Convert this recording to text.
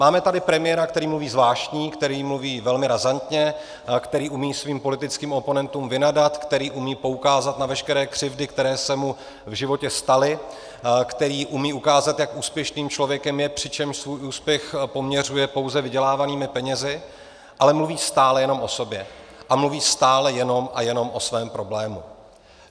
Máme tady premiéra, který mluví zvláštně, který mluví velmi razantně, který umí svým politickým oponentům vynadat, který umí poukázat na veškeré křivdy, které se mu v životě staly, který umí ukázat, jak úspěšným člověkem je, přičemž svůj úspěch poměřuje pouze vydělávanými penězi, ale mluví stále jenom o sobě a mluví stále jenom a jenom o svém problému.